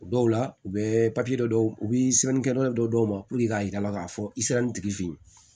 O dɔw la u bɛ dɔ u bɛ sɛbɛnni kɛ dɔw ma k'a jira k'a fɔ i sera nin tigi fɛ yen